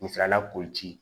Misala la koji